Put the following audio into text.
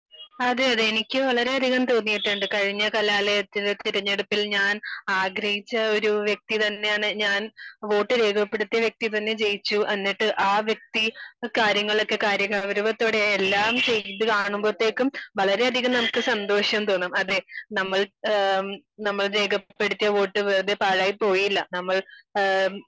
അതെയതെ എനിക്ക് വളരെയധികം തോന്നീട്ടുണ്ട് കഴിഞ്ഞ കലാലയത്തിലെ തിരഞ്ഞെടുപ്പിൽ ഞാൻ ആഗ്രഹിച്ച ഒരു വ്യക്തി തന്നെയാണ് ഞാൻ വോട്ട് രേഖപ്പെടുത്തിയ വ്യക്തി തന്നെ ജയിച്ചു എന്നിട്ട് ആ വ്യക്തി കാര്യങ്ങൾ ഒക്കെ കാര്യ ഗൗരവത്തോടെ എല്ലാം ചെയ്തു കാണുമ്പോത്തേക്കും വളരെയധികം സന്തോഷം നമുക്ക് തോന്നും അതെ നമ്മൾ ആ, നമ്മൾ രേഖപ്പെടുത്തിയ വോട്ട് വെറുതെ പാഴായിപോയില്ല നമ്മൾ ആ